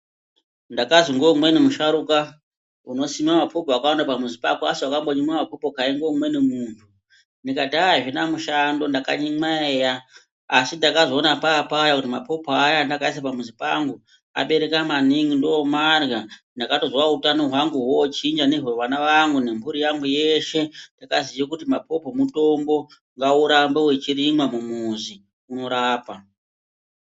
Ndakazi ngeumweni musharuka, "unosima mapopo akawanda pamuzi pako asi wakambonyimwa mapopo kai ngeumweni muntu?" Ndikati "aaah azvina mushando ndakanyimwa eya, asi ndakazoona papaya kuti mapopo aya andakaisa pamuzi pangu abereka maningi, ndomarya ndakatozwawo utano hwangu hwochinja nehwevana vangu nempuri yangu yeshe ndikaziya kuti mapopo mutombo, ngaurambe wechirimwa mumuzi, unorapa."